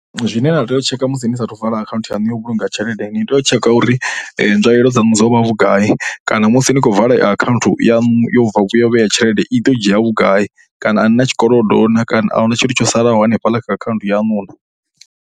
Zwine na tea u tshekha musi ni saathu u vala akhaunthu yaṋu ya u vhulunga tshelede, ni tea u tshekha uri nzwalelo dzaṋu dzo vha vhugai kana musi ni khou vala iyi akhaunthu yaṋu ya u vhea tshelede i ḓo dzhia vhugai kana a ni na tshikolodo na. Kana a hu na tshithu tsho salaho hanefhaḽa kha akhaunthu yaṋu na.